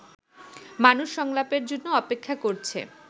মানুষ সংলাপের জন্য অপেক্ষা করছে